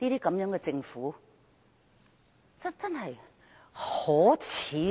這樣的政府真是極為可耻！